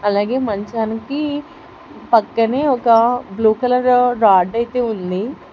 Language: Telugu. అలాగే మంచానికి పక్కనే ఒక బ్లూ కలర్ రాడ్ అయితే ఉంది.